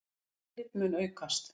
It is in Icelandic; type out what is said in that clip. Eftirlit mun aukast.